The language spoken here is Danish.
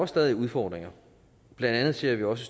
stadig udfordringer blandt andet ser vi også